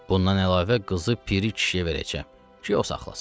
Bundan əlavə qızı piri kişiyə verəcəm ki, o saxlasın.